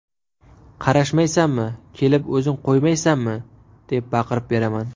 Qarashmaysanmi, kelib o‘zing qo‘ymaysanmi” deb baqirib beraman.